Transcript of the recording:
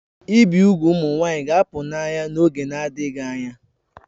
Ibi úgwù ụmụ nwanyị ga-apụ n'anya n'oge na-adịghị anya